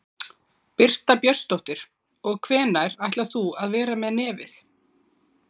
Birta Björnsdóttir: Og hvenær ætlar þú að vera með nefið?